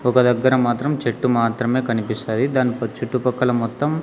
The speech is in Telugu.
ఒక దగ్గర మాత్రం చెట్టు మాత్రమే కనిపిస్తది దానిప చుట్టుపక్కల మొత్తం.